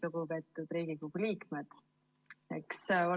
Lugupeetud Riigikogu liikmed!